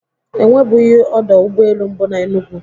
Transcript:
E nwebughi ọdọ ụgbọelu mbụ na Enugwu